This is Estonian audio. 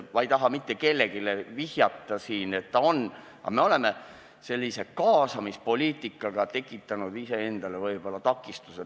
Ma ei taha siin mitte kellelegi vihjata ega midagi öelda, aga võib-olla oleme me sellise kaasamispoliitikaga tekitanud iseendale takistuse.